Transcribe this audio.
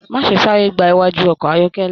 Má ṣe sáré gbà iwájú ọkọ ayọkẹlẹ.